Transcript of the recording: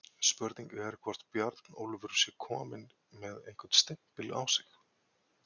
Spurning er hvort Bjarnólfur sé kominn með einhvern stimpil á sig?